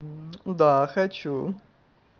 да хочу